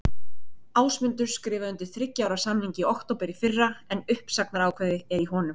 Ásmundur skrifaði undir þriggja ára samning í október í fyrra en uppsagnarákvæði er í honum.